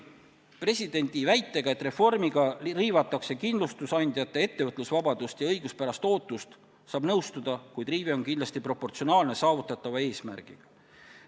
Presidendi väitega, et reformiga riivatakse kindlustusandjate ettevõtlusvabadust ja õiguspärast ootust, saab nõustuda, kuid riive on kindlasti proportsionaalne saavutatava eesmärgiga.